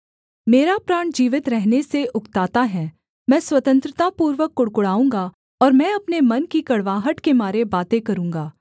मेरा प्राण जीवित रहने से उकताता है मैं स्वतंत्रता पूर्वक कुढ़कुढ़ाऊँगा और मैं अपने मन की कड़वाहट के मारे बातें करूँगा